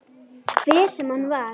Hver sem hann var.